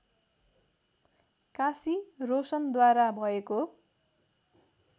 काशी रोशनद्वारा भएको